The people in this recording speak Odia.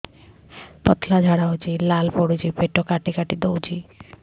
ପତଳା ଝାଡା ହଉଛି ଲାଳ ପଡୁଛି ପେଟ କାଟି କାଟି ଦଉଚି